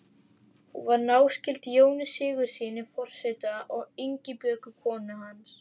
Hún var náskyld Jóni Sigurðssyni forseta og Ingibjörgu konu hans.